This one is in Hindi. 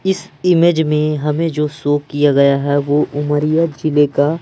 इस इमेज में हमें जो शो किया गया है वो उमरिया जिले का--